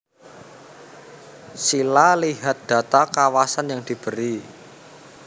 Sila lihat data kawasan yang diberi